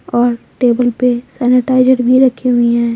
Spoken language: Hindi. और टेबल पे सैनिटाइजर भी रखी हुई है।